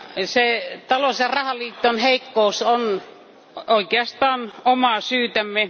Se talous ja rahaliiton heikkous on oikeastaan omaa syytämme.